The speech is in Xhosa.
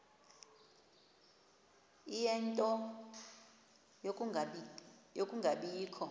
ie nto yokungabikho